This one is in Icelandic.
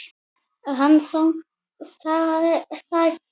Hann þagnar.